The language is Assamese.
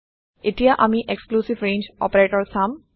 এতিয়া আমি এক্সক্লুচিভ ৰেঞ্জ অপাৰেটৰ চাম